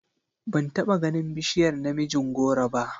Ban taba ganin bishiyar namijin goro ba.